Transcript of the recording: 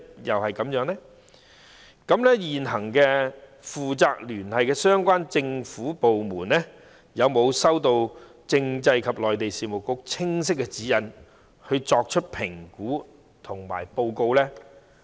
現行負責聯繫的相關政府部門有否收到政制及內地事務局清晰的指引，作出評估及報告？